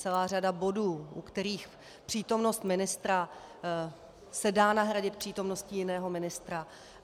Celá řada bodů, u kterých přítomnost ministra se dá nahradit přítomností jiného ministra.